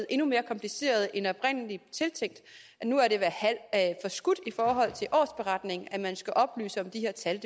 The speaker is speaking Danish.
endnu mere kompliceret end oprindelig tiltænkt og nu er det forskudt i forhold til årsberetningen at man skal oplyse om de her tal